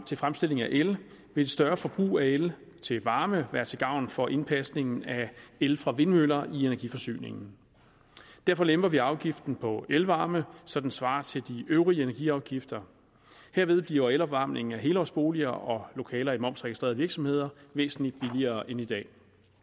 til fremstilling af el vil et større forbrug af el til varme være til gavn for indpasningen af el fra vindmøller i energiforsyningen derfor lemper vi afgiften på elvarme så den svarer til de øvrige energiafgifter herved bliver elopvarmningen af helårsboliger og lokaler i momsregistrerede virksomheder væsentlig billigere end i dag